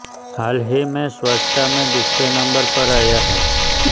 हाल ही मे स्वच्छता मे दूसरे नंबर पर आया है